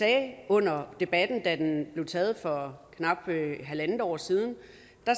at vi under debatten da den blev taget for knap halvandet år siden